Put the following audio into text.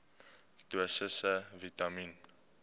dosisse vitamien